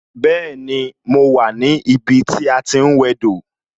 Bẹẹni, mo wà ní ibi tí a ti ń wẹ dò